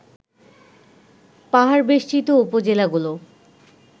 পাহাড়বেষ্ঠিত উপজেলাগুলো